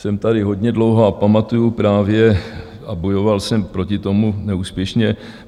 Jsem tady hodně dlouho a pamatuji právě a bojoval jsem proti tomu neúspěšně.